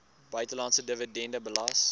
buitelandse dividende belas